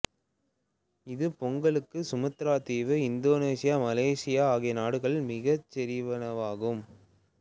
இது Bengkulu Sumatra தீவு Indonesia Malaysia ஆகிய நாடுகளுக்குரிய மிகைச்செறிவினமாகும்